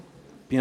Bien sûr.